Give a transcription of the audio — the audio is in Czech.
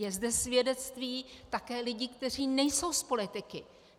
Je zde svědectví také lidí, kteří nejsou z politiky.